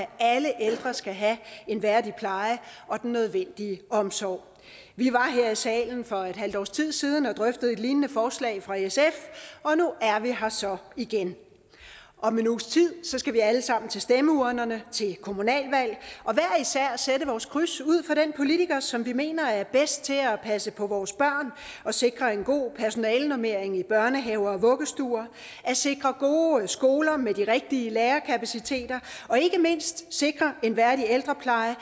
at alle ældre skal have en værdig pleje og den nødvendige omsorg vi var her i salen for et halvt års tid siden og drøftede et lignende forslag fra sf og nu er vi her så igen om en uges tid skal vi alle sammen til stemmeurnerne til kommunalvalget og sætte vores kryds ud for den politiker som vi mener er bedst til at passe på vores børn og sikre en god personalenormering i børnehaver og vuggestuer at sikre gode skoler med de rigtige lærerkapaciteter og ikke mindst sikre en værdig ældrepleje